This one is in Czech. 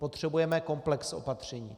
Potřebujeme komplex opatření.